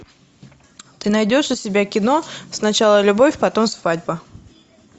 ты найдешь у себя кино сначала любовь потом свадьба